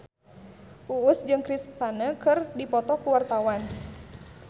Uus jeung Chris Pane keur dipoto ku wartawan